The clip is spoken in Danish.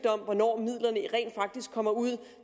om hvornår midlerne rent faktisk kommer ud